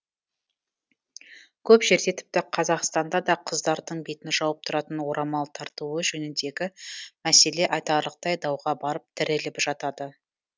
көп жерде тіпті қазақстанда да қыздардың бетін жауып тұратын орамал тартуы жөніндегі мәселе айтарлықтай дауға барып тіреліп жатады